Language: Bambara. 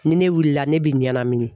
Ni ne wulila , ne bi ɲamin